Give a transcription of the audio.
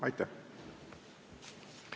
Aitäh!